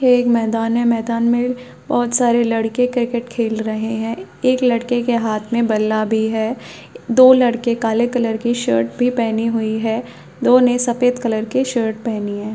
ये एक मैदान है मैदान में बहोत सारे लड़के क्रिकेट खेल रहे है एक लड़के के हाथ में बल्ला भी हैं दो लड़के काले कलर की शर्ट भी पहनी हुई है दो ने सफेद कलर की शर्ट पहनी है।